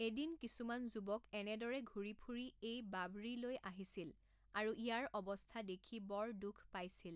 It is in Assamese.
এদিন কিছুমান যুৱক এনেদৰে ঘূৰি ফুৰি এই বাৱড়ী লৈ আহিছিল আৰু ইয়াৰ অৱস্থা দেখি বৰ দুখ পাইছিল।